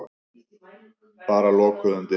Bara lokuðum dyrum.